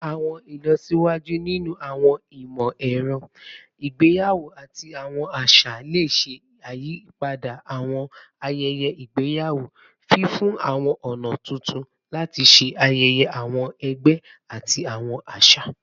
Awọn ilọsiwaju ninu awọn imọ-ẹrọ igbeyawo ati awọn aṣa le ṣe iyipada awọn ayẹyẹ igbeyawo, fifunni awọn ọna tuntun lati ṣe ayẹyẹ awọn ẹgbẹ ati awọn aṣa.